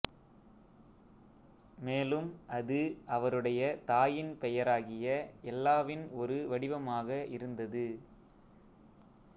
மேலும் அது அவருடைய தாயின் பெயராகிய எல்லாவின் ஒரு வடிவமாக இருந்தது